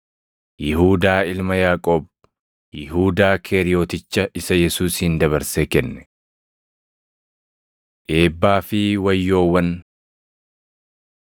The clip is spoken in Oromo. Yihuudaa ilma Yaaqoob, Yihuudaa Keeriyoticha isa Yesuusin dabarsee kenne. Eebbaa fi Wayyoowwan 6:20‑23 kwf – Mat 5:3‑12